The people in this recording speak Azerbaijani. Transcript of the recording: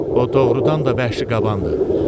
O doğrudan da vəhşi qabandır.